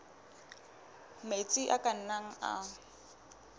metsi a ka nnang a